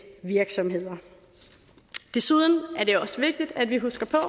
virksomheder desuden er det også vigtigt at vi husker på at